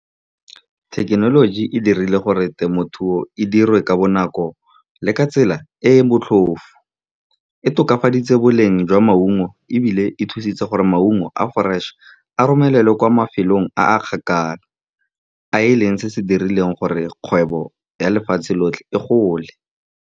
Thekenoloji e dirile gore temothuo e dirwe ka bonako le ka tsela e e motlhofo. E tokafaditse boleng jwa maungo, ebile e thusitse gore maungo a a fresh-e a romelelwe kwa mafelong a a kgakala, a e leng se se dirileng gore kgwebo ya lefatshe lotlhe e gole.